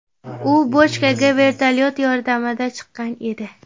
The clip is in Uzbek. U bochkaga vertolyot yordamida chiqqan edi.